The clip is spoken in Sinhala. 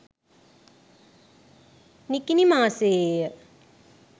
නිකිණි මාසයේ ය.